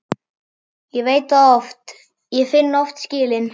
Ég veit það oft, ég finn oft skilin.